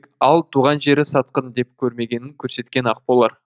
ал туған жері сатқын деп көрмегенін көрсеткен ақ болар